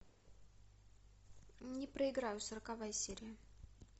не проиграю сороковая серия